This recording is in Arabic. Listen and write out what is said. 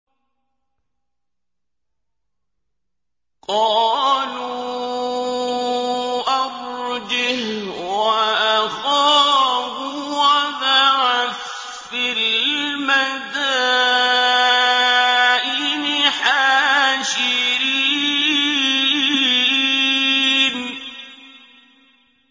قَالُوا أَرْجِهْ وَأَخَاهُ وَابْعَثْ فِي الْمَدَائِنِ حَاشِرِينَ